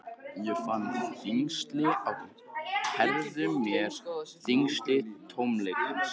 Ég fann þyngsli á herðum mér, þyngsli tómleikans.